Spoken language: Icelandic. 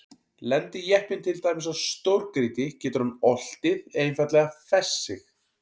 Lendi jeppinn til dæmis á stórgrýti getur hann oltið eða einfaldlega fest sig.